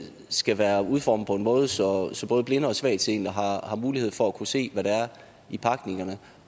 skal være udformet på en måde så så både blinde og svagtseende har har mulighed for at kunne se hvad der er i pakningerne